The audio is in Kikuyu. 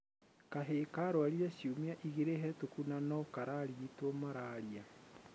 Kahĩ karwarire ciumia igĩrĩ hetũkũ na no kararigitwo mararia